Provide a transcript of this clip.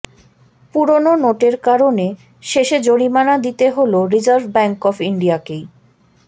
পুরনো নোটের কারণে শেষে জরিমানা দিতে হল রিজার্ভ ব্যাঙ্ক অব ইন্ডিয়াকেই